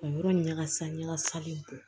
O yɔrɔ ɲagasa ɲagasa bɛ bɔn